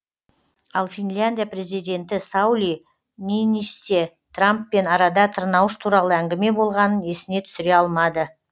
ал финляндия президенті саули ниинисте трамппен арада тырнауыш туралы әңгіме болғанын есіне түсіре алмады